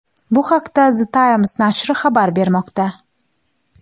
Bu haqda The Times nashri xabar bermoqda .